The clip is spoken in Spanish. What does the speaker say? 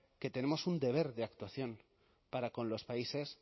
que tenemos un deber de actuación para con los países